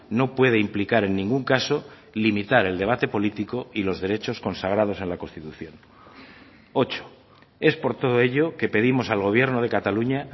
no puede implicar en ningún caso limitar el debate político y los derechos consagrados en la constitución ocho es por todo ello que pedimos al gobierno de cataluña